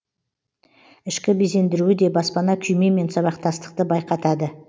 ішкі безендіруі де баспана күймемен сабақтастықты байқатады